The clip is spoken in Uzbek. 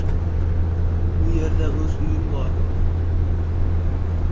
U yerda o‘z uyim bor.